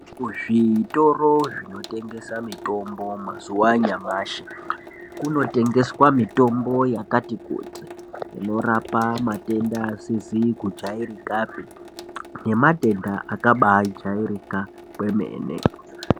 Zvitoro zvinotengesa mitombo mazuwa anyamashi kunotengeswa mitombo yakati kuti inorapa matenda asizi kujairikapi nematenda akabai jairika kwemene.